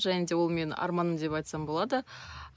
және де ол менің арманым деп айтсам болады